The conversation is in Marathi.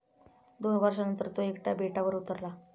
दोन वर्षानंतर तो एकटा बेटावर उतरला.